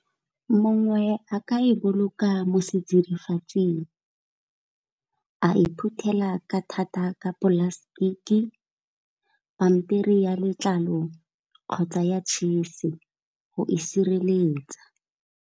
Mongwe a ka e boloka mo setsidifatsing, a e phuthela ka thata ka plastic, pampiri ya letlalo kgotsa ya tšhisi go e sireletsa.